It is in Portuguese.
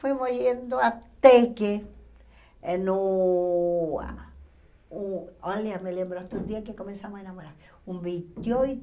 Fomos indo até que eh no... O olha, me lembro, até o dia que começamos a namorar. Um vinte e